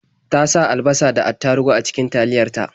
Ta sa alabasa da attaruhu a cikin taliyar ta.